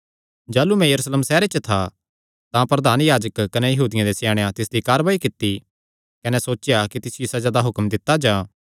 जाह़लू मैं यरूशलेम सैहरे च था तां प्रधान याजक कने यहूदियां दे स्याणेयां तिसदी कारवाई कित्ती कने सोचेया कि तिसियो सज़ा दा हुक्म दित्ता जां